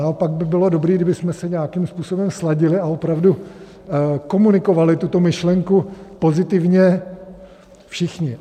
Naopak by bylo dobré, kdybychom se nějakým způsobem sladili a opravdu komunikovali tuto myšlenku pozitivně všichni.